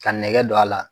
Ka nɛgɛ don a la